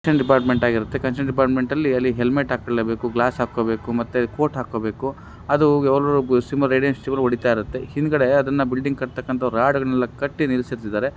Department ಆಗಿರತ್ತೆ department ಅಲ್ಲಿ ಅಲ್ಲಿ ಹೆಲ್ಮೆಟ್ ಹಾಕೊಳ್ಳೇಬೇಕು ಗ್ಲಾಸ್ ಹಾಕೋಬೇಕು ಮತ್ತೆ ಕೋಟ್ ಹಾಕೋಬೇಕು. ಹಿಂದ್ಗಡೆ ಅದನ್ನ ಬಿಲ್ಡಿಂಗ್ ಕಟ್ಟತಕ್ಕಂತ ರಾಡ್ ಗಳನ್ನ ಕಟ್ಟಿ ನಿಲ್ಲಿಸ್ತಾ ಇದಾರೆ.